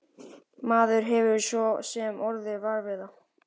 Maður hefur svo sem orðið var við það.